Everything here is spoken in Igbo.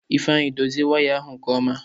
Ifeanyị dozie waya ahụ nke ọma!